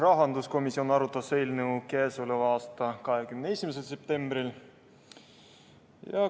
Rahanduskomisjon arutas eelnõu k.a 21. septembril.